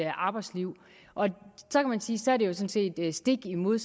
arbejdsliv og så kan man sige sådan set er stik imod